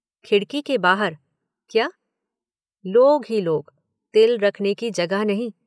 खिड़की के बाहर? क्या? लोग ही लोग, तिल रखने की जगह नहीं।